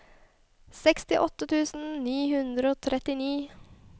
sekstiåtte tusen ni hundre og trettini